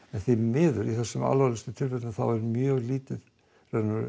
en því miður í þessum alvarlegustu tilfellum þá er mjög lítið um